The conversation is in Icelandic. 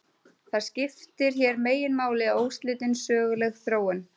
Það sem skiptir hér meginmáli er óslitin söguleg þróun.